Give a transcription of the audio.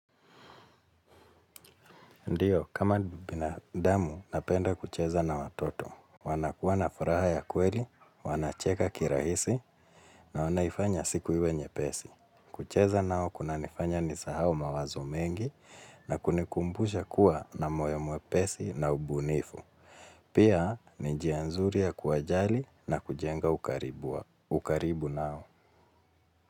Ndiyo, kama binadamu, napenda kucheza na watoto. Wanakuwa na furaha ya kweli, wanacheka kirahisi, na wanaifanya siku iwe nyepesi. Kucheza nao, kuna nifanya nisahau mawazo mengi, na kunikumbusha kuwa na moyo mwepesi na ubunifu. Pia, ni njia nzuri ya kuwajali na kujenga ukaribu wa, ukaribu nao.